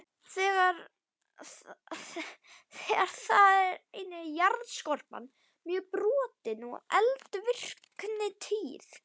Þar er einnig jarðskorpan mjög brotin og eldvirkni tíð.